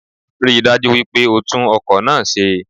Ríi dájú wípé o tún ọkò náá ṣe